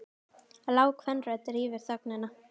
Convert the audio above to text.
Lág kvenrödd rýfur þögnina.